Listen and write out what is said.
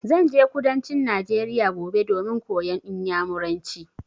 Zan je kudancin Najeriya gobe domin koyan Inyamuranci.